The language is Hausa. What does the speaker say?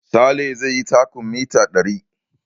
Sale zai yi takun mita ɗari